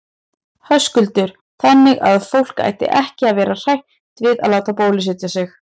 Höskuldur: Þannig að fólk ætti ekki að vera hrætt við það að láta bólusetja sig?